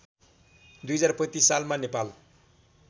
२०३५ सालमा नेपाल